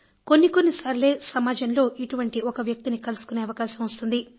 కొన్ని కొన్నిసార్లే సమాజంలో ఇటువంటి ఒక వ్యక్తిని కలుసుకునే అవకాశం వస్తుంది